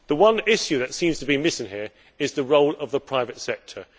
The one issue that seems to be missing here is the role of the private sector.